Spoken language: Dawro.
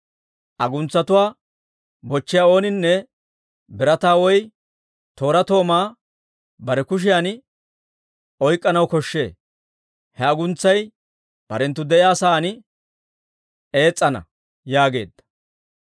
Aguntsatuwaa bochchiyaa ooninne birataa woy tooraa toomaa bare kushiyan oyk'k'anaw koshshee. He aguntsay barenttu de'iyaa sa'aan ees's'ana» yaageedda.